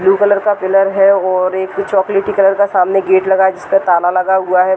Blue colour का pillar है और एक चोकोलेटी कलर का सामने गेट लगा है जिस पर ताला लगा हुआ है।